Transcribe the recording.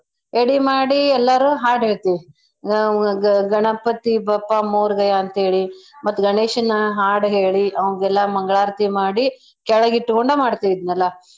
ಎಡಿ ಮಾಡೀ ಎಲ್ಲಾರೂ ಹಾಡ್ ಹೇಳ್ತೇವಿ ನಮ್ ಗ~ ಗಣಪತಿ ಬಪ್ಪ ಮೋರ್ಗಯಾ ಅಂತೇಳಿ ಮತ್ತೆ ಗಣೇಶನ್ನ ಹಾಡ್ಹೇಳಿ ಅವ್ನ್ಗೆಲ್ಲಾ ಮಂಗ್ಳಾರ್ತಿ ಮಾಡಿ ಕೆಳಗಿಟ್ಕೊಂಡ ಮಾಡ್ತೀವ್ ಇದ್ನೆಲ್ಲಾ.